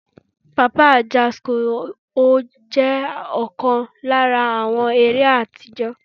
Papa Ajasco jẹ́ ọ̀kan lára àwọn eré àtijọ́.